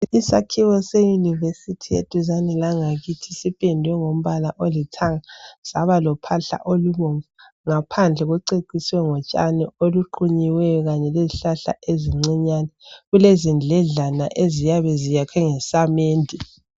Isakhiwe seYunivesithi eduze langakithi sipendwe ngombala olithanga , saba lophahla olubomvu. Ngaphandle kuceciswe ngotshabi oluqunyiweyo kanye lezihlahla ezinyancane. Kulezindledlana eziyabe zakhiwe ngezamende.